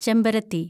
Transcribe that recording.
ചെമ്പരത്തി